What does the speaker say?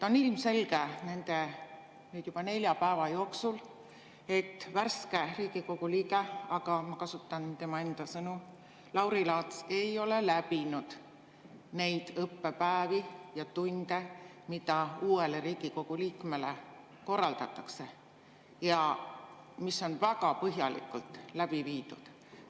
On ilmselgeks saanud nende nüüd juba nelja päeva jooksul, et värske Riigikogu liige – ma kasutan tema enda sõnu – Lauri Laats ei ole läbinud neid õppepäevi ja ‑tunde, mida uuele Riigikogu liikmele korraldatakse ja mis on alati väga põhjalikult läbi viidud.